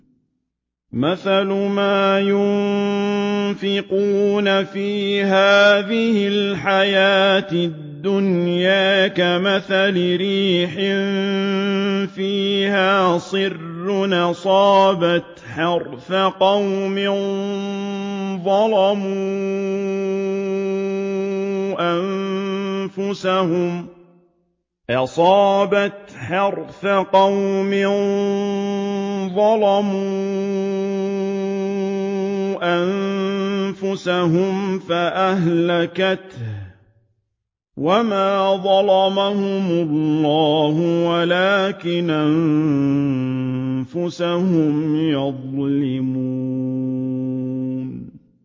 مَثَلُ مَا يُنفِقُونَ فِي هَٰذِهِ الْحَيَاةِ الدُّنْيَا كَمَثَلِ رِيحٍ فِيهَا صِرٌّ أَصَابَتْ حَرْثَ قَوْمٍ ظَلَمُوا أَنفُسَهُمْ فَأَهْلَكَتْهُ ۚ وَمَا ظَلَمَهُمُ اللَّهُ وَلَٰكِنْ أَنفُسَهُمْ يَظْلِمُونَ